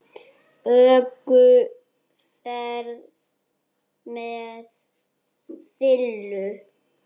ÖKUFERÐ MEÐ SILLU